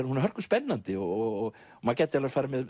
hún er hörkuspennandi og maður gæti farið